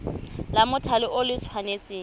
la mothale o le tshwanetse